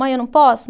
Mãe, eu não posso?